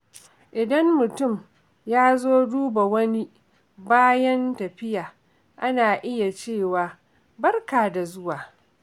Idan mutum ya zo duba wani bayan tafiya, ana iya cewa “Barka da dawowa.”